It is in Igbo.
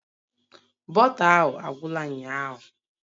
Bọta ahụ agwụla ụnyahụ